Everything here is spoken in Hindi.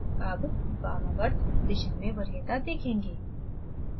अब वामावर्त दिशा में वरीयता देखेंगे